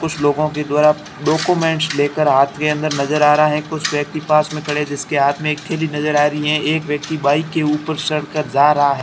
कुछ लोगों के द्वारा डाक्यूमेंट्स लेकर हाथ के अंदर नजर आ रहा है कुछ व्यक्ति पास में खड़े जिसके हाथ मे एक थैली नजर आ रही है एक व्यक्ति बाइक के ऊपर चढ़कर जा रहा है।